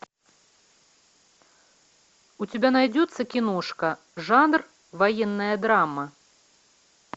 у тебя найдется киношка жанр военная драма